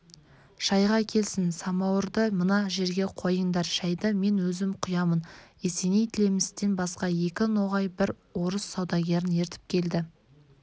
шайға келсін самауырды мына жерге қойыңдар шайды мен өзім құямын есеней тілемістен басқа екі ноғай бір орыс саудагерін ертіп келді